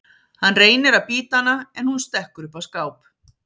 Hann reynir að bíta hana en hún stekkur upp á skáp.